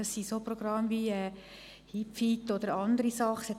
Es handelt sich um Programme wie HipFit oder andere Angebote.